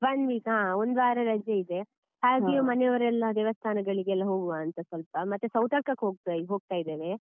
One week ಹ ಒಂದುವಾರ ರಜೆ ಇದೆ ಹಾಗೆ ಮನೆಯವರೆಲ್ಲ ದೇವಸ್ತಾನಗಳಿಗೆಲ್ಲ ಹೋಗುವಾಂತ ಸ್ವಲ್ಪ ಮತ್ತೆ ಸೌತಡ್ಕ ಹೋಗ್ತಾ ಹೋಗ್ತಾ ಇದ್ದೇವೆ.